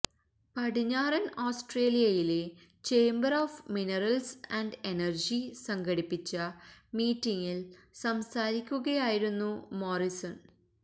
പടിഞ്ഞാറന് ഓസ്ട്രേലിയയിലെ chamber of minerals and energy സംഘടിപ്പിച്ച മീറ്റിംഗില് സംസാരിക്കുകയായിരുന്നു മോറിസൺ